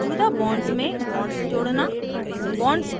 मौजूदा bonds में bonds जोड़ना